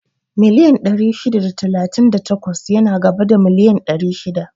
Miliyan ɗari shida da talatin da takwas yana gaba da miliyan ɗari shida